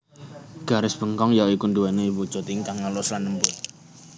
Garis bengkong ya iku nduweni wujud ingkang alus lan lembut